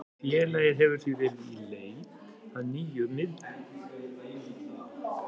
Félagið hefur því verið í í leit að nýjum miðverði.